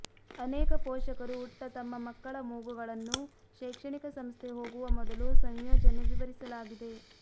ಅನೇಕ ಪೋಷಕರು ಉಟ್ಟ ತಮ್ಮ ಮಕ್ಕಳ ಮೂಗುಗಳನ್ನು ಶೈಕ್ಷಣಿಕ ಸಂಸ್ಥೆ ಹೋಗುವ ಮೊದಲು ಸಂಯೋಜನೆ ವಿವರಿಸಲಾಗಿದೆ